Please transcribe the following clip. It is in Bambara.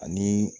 Ani